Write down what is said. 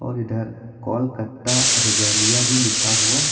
और इधर कोलकत्ता रेगलिया भी लिखा हुआ--